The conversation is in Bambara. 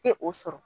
Tɛ o sɔrɔ